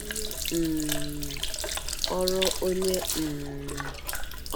Onye um ọrụ Onye um